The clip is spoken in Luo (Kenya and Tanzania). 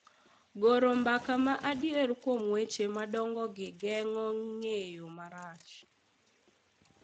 Goro mbaka ma adier kuom weche madongogi geng'o ng'eyo marach